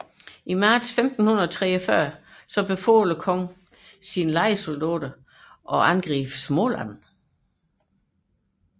I marts 1543 befalede kongen sine lejesoldater at angribe Småland